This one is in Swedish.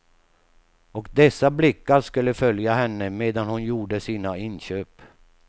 Och dessa blickar skulle följa henne medan hon gjorde sina inköp.